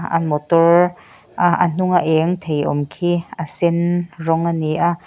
a motor a a hnunga eng thei awm khi a sen rawng a ni a.